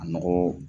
A nɔgɔ